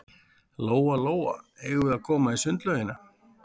Lóa-Lóa, eigum við að koma í sundlaugina?